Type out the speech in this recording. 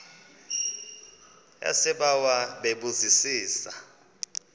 yasebawa bebu zisa